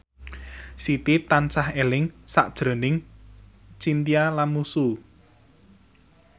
Siti tansah eling sakjroning Chintya Lamusu